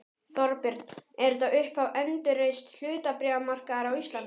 Þorbjörn: Er þetta upphaf endurreists hlutabréfamarkaðar á Íslandi?